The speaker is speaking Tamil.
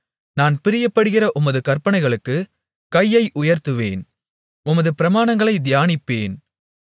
நான் பிரியப்படுகிற உமது கற்பனைகளுக்குக் கையை உயர்த்துவேன் உமது பிரமாணங்களைத் தியானிப்பேன்